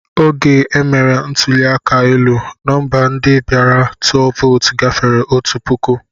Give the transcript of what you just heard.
Oge e mere ntụli aka elu, nọmba ndị bịara tụọ vootu gafere otu puku.